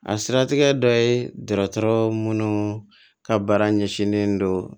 A siratigɛ dɔ ye dɔgɔtɔrɔ mun ka baara ɲɛsinnen don